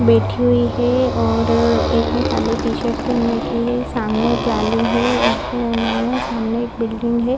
बैठी हुई है और एक ने खाली टी-शर्त पहन रखी है सामने जाली है उसके अलावा सामने एक बिल्डिंग है।